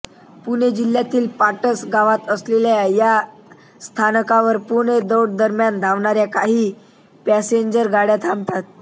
पुणे जिल्ह्यातील पाटस गावात असलेल्या या स्थानकावर पुणे दौंड दरम्यान धावणाऱ्या काही पॅसेंजर गाड्या थांबतात